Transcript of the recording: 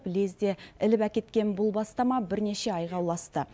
лезде іліп әкеткен бұл бастама бірнеше айға ұласты